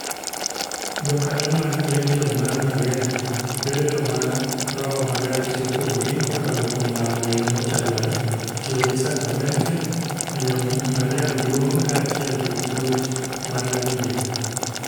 Jokanyo mag Legion mar Mariam bedo joma roho maler tiyo kuomgi kokalo kuom lamo e yo mochanore, tiyo gi sakramente, miyo Mariam duong' kaachiel gi puonj mar Didek.